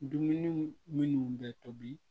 Dumuniw minnu bɛ tobi